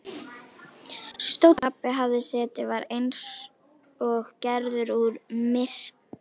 Stóllinn þar sem pabbi hafði setið var eins og gerður úr myrkri.